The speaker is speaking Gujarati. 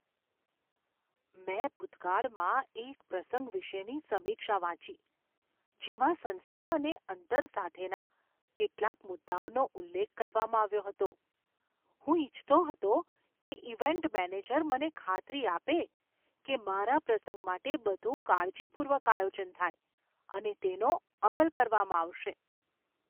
મેં ભૂતકાળના એક પ્રસંગ વિશેની સમીક્ષા વાંચી જેમાં સંસ્થા અને અંતર સાથેના કેટલાક મુદ્દાઓનો ઉલ્લેખ કરવામાં આવ્યો હતો. હું ઈચ્છતો હતો કે ઈવેન્ટ મેનેજર મને ખાતરી આપે કે મારા પ્રસંગ માટે બધું કાળજીપૂર્વક આયોજન થાય અને તેનો અમલ કરવામાં આવશે.